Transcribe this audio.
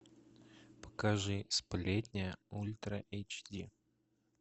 покажи сплетня ультра эйч ди